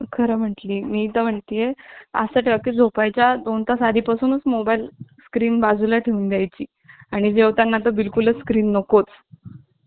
खरं म्हटली ,मी इथे म्हणती ये असं टक्के झोपाय च्या दोन तास आधी पासूनच मोबाईल स्क्रीन बाजूला ठेवून द्यायची आणि जेवताना तर बिल कुल स्क्रीन नकोच